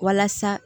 Walasa